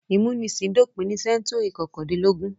Ìmúnisìn dópin ní sẹ́ńtúrì kọkàndínlógún.